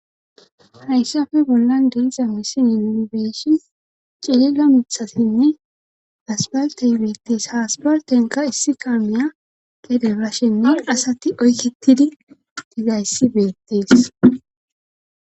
hayssafe bollan de7iza missilen nuni bee7ishis ciilla mithasinne asbaltey beettees haspartenka issi kammeya gede bashenne asati oykketidi digayssi beettees